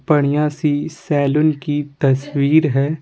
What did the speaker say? बढ़िया सी सैलून की तस्वीर है।